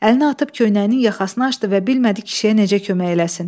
Əlini atıb köynəyinin yaxasını açdı və bilmədi kişiyə necə kömək eləsin.